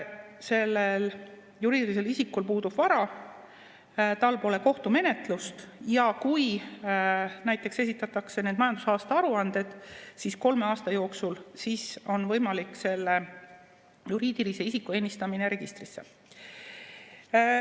Sellel juriidilisel isikul puudub vara, tal pole kohtumenetlust ja kui näiteks esitatakse need majandusaasta aruanded kolme aasta jooksul, siis on võimalik selle juriidilise isiku ennistamine registrisse.